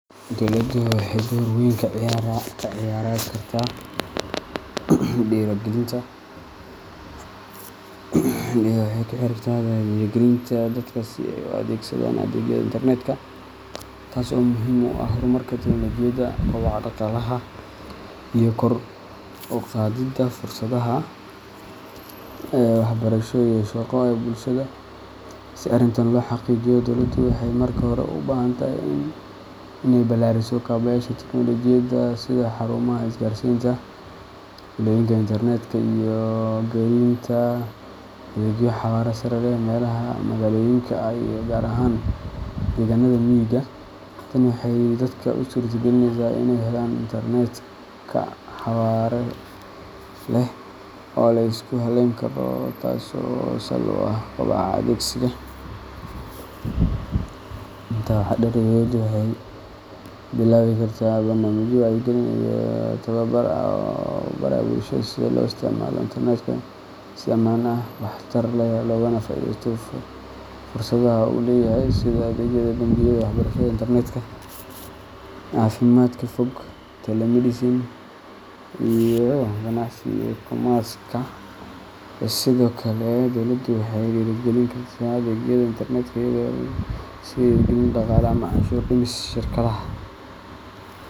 Dowladdu waxay door weyn ka ciyaari kartaa dhiirrigelinta dadka si ay u adeegsadaan adeegyada internetka, taas oo muhiim u ah horumarka tiknoolajiyadda, kobaca dhaqaalaha, iyo kor u qaadidda fursadaha waxbarasho iyo shaqo ee bulshada. Si arrintan loo xaqiijiyo, dowladdu waxay marka hore u baahan tahay inay ballaariso kaabayaasha tiknoolajiyadda, sida xarumaha isgaarsiinta, fiilooyinka internet-ka iyo gelinta adeegyo xawaare sare leh meelaha magaalooyinka ah iyo gaar ahaan deegaannada miyiga. Tani waxay dadka u suurtagelinaysaa inay helaan internet xawaare leh oo la isku halleyn karo, taasoo sal u ah koboca adeegsiga. Intaa waxaa dheer, dowladdu waxay bilaabi kartaa barnaamijyo wacyigelin iyo tababar ah oo lagu barayo bulshada sida loo isticmaalo internetka si ammaan ah, waxtar leh, loogana faa’iideysto fursadaha uu leeyahay – sida adeegyada bangiyada, waxbarashada internetka, caafimaadka fog telemedicine, iyo ganacsiga e-commerce. Sidoo kale, dowladdu waxay dhiirrigelin kartaa adeegyada internet-ka iyadoo siisa dhiirrigelin dhaqaale ama canshuur-dhimis shirkadaha